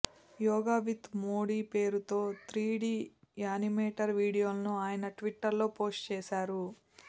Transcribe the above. yoga with Modi పేరుతో three D animator వీడియోలను ఆయన ట్విటర్లో పోస్టు చేశారు